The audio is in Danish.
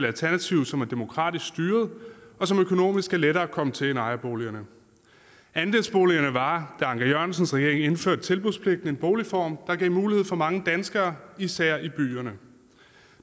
alternativ som er demokratisk styret og som økonomisk er lettere at komme til end ejerboligerne andelsboligerne var da anker jørgensens regering indførte tilbudspligten en boligform der gav mulighed for mange danskere især i byerne